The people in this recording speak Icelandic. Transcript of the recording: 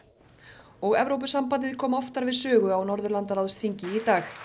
og Evrópusambandið kom oftar við sögu á Norðurlandaráðsþingi í dag